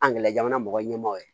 Angɛrɛ jamana mɔgɔ ɲɛmaaw ye